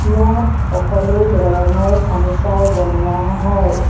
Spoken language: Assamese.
ইয়াত সকলো ধৰণৰ ফাৰ্নিছাৰ বনোৱা হয়।